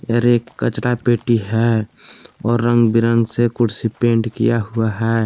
एक कचरा पेटी है और रंग बिरंग से कुर्सी पेंट किया हुआ है।